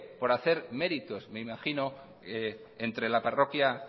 por hacer méritos me imagino entre la parroquia